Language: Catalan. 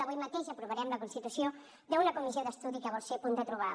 avui mateix aprovarem la constitució d’una comissió d’estudi que vol ser punt de trobada